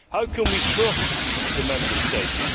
How can we trust the Member States?